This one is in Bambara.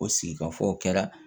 O sigi ka fɔ o kɛra